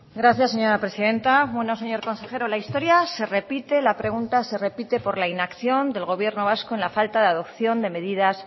gracias señora presidenta señor consejero la historia se repite la pregunta se repite por la inacción del gobierno vasco en la falta de adopción de medidas